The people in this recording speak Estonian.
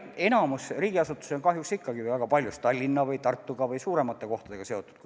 Enamik riigiasutusi on kahjuks ikkagi väga paljus Tallinna või Tartu või muude suuremate linnadega seotud.